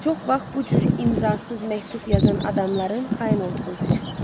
Çox vaxt bu cür imzasız məktub yazan adamların xain olduğu üzə çıxır.